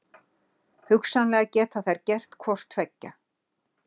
Hugsanlega geta þær gert hvort tveggja.